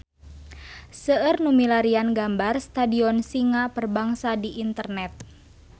Seueur nu milarian gambar Stadion Singa Perbangsa di internet